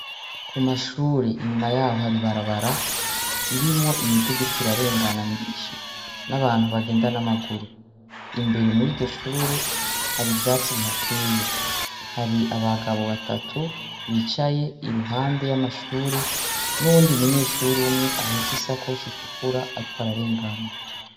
Ku mashure inyuma yaho hari ibarabara ririmwo imiduga iriko irarengana myinshi n'abantu bagenda n'amaguru, imbere muri iryo shure hari ivyatsi bihateye, hari abagabo batatu bicaye iruhande y'amashure n'uyundi munyeshure umwe ahetse isakoshi itukura ariko ararengana.